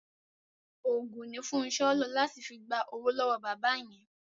Òògùn ni Fúnṣọ́ lò láti fi gba owó lọ́wọ́ bàbá yẹn.